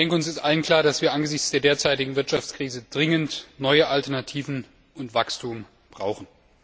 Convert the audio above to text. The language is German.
Uns ist allen klar, dass wir angesichts der derzeitigen Wirtschaftskrise dringend neue Alternativen und Wachstum brauchen.